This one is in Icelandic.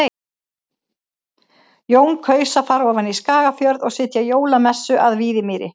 Jón kaus að fara ofan í Skagafjörð og sitja jólamessu að Víðimýri.